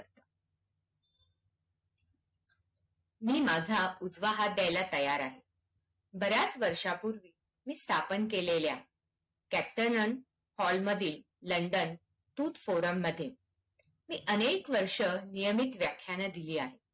मी माझा उजवा हात द्यायला तयार आहे बर्‍याचा वर्षी पूर्वी स्थापन केलेल्या tactornal hall मध्ये london tooth forum मध्ये अनेक वर्ष नियमित व्याखान दिले आहेत